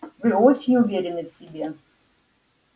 вы очень уверены в себе